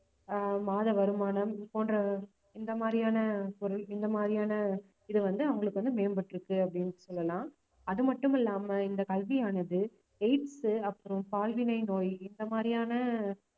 அஹ் மாத வருமானம் போன்ற இந்த மாதிரியான பொருள் இந்த மாதிரியான இது வந்து அவங்களுக்கு வந்து மேம்பட்டிருக்கு அப்படின்னு சொல்லலாம் அது மட்டும் இல்லாம இந்த கல்வியானது aids உ அப்புறம் பால்வினை நோய் இந்த மாதிரியான